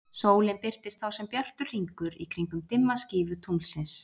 Sólin birtist þá sem bjartur hringur í kringum dimma skífu tunglsins.